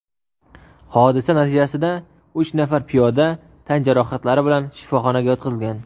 Hodisa natijasida uch nafar piyoda tan jarohatlari bilan shifoxonaga yotqizilgan.